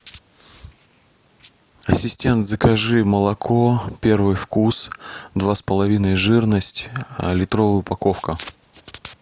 ассистент закажи молоко первый вкус два с половиной жирность литровая упаковка